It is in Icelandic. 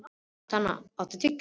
Tanya, áttu tyggjó?